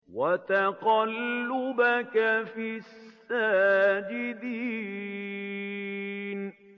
وَتَقَلُّبَكَ فِي السَّاجِدِينَ